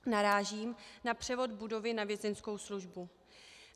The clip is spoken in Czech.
Narážím na převod budovy na Vězeňskou službu.